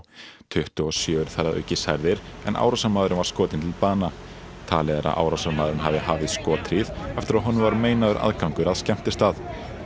tuttugu og sjö eru þar að auki særðir en árásarmaðurinn var skotinn til bana talið er að árásarmaðurinn hafi hafið skothríð eftir að honum var meinaður aðgangur að skemmtistað